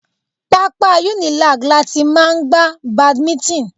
Pápá Unilag láti máa gbá badminton.